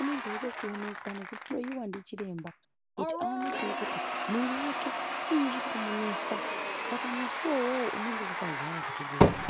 unenge uchida kuonekwe nekuhloyiwa ndichiremba kuti aonekwewo kuti muviri wake chinyi chirikumunesa saka musi iwowoyo unonga wakazara kuzvibhedhlera.